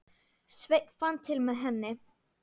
Sveinn fann til með henni.